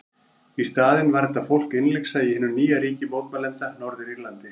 Í staðinn var þetta fólk innlyksa í hinu nýja ríki mótmælenda, Norður-Írlandi.